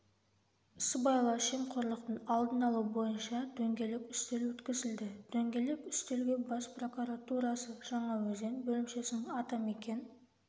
сыбайлас жемқорлықтың алдын алу бойынша дөңгелек үстел өткізілді дөңгелек үстелге бас прокуратурасы жаңаөзен бөлімшесінің атамекен